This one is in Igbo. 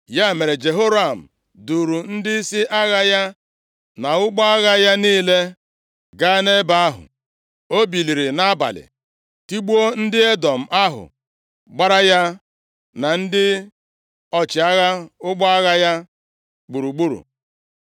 Ya mere, Jehoram duuru ndịisi agha ya na ụgbọ agha ya niile gaa nʼebe ahụ. O biliri nʼabalị tigbuo ndị Edọm ahụ gbara ya na ndị ọchịagha ụgbọ agha ya gburugburu.